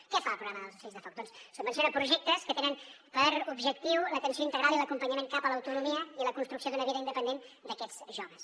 què fa el programa dels ocells de foc doncs subvenciona projectes que tenen per objectiu l’atenció integral i l’acompanyament cap a l’autonomia i la construcció d’una vida independent d’aquests joves